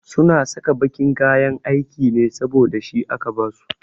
Su na saka baƙin kayan aiki ne saboda shi aka ba su